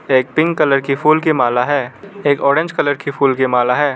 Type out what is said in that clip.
एक pink colour के फूल की माला है एक ऑरेंज कलर के फूल की माला है।